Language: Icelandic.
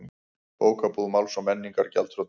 Bókabúð Máls og menningar gjaldþrota